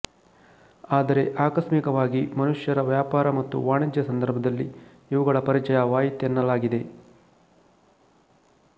ಆದರೆ ಆಕಸ್ಮಿಕವಾಗಿ ಮನುಷ್ಯರ ವ್ಯಾಪಾರ ಮತ್ತು ವಾಣಿಜ್ಯ ಸಂದರ್ಭದಲ್ಲಿ ಇವುಗಳ ಪರಿಚಯವಾಯಿತೆನ್ನಲಾಗಿದೆ